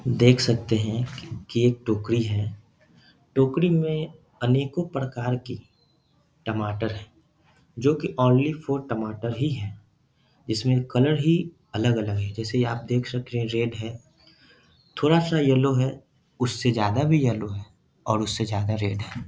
देख सकते हैं की एक टोकरी है। टोकरी में अनेकों प्रकार की टमाटर है जो की ओनली वो टमाटर ही है। इसमें कलर ही अलग-अलग है जैसे आप देख सकते हैं रेड है थोड़ा सा येल्लो है उससे ज्यादा भी येल्लो है और उससे ज्यादा रेड है।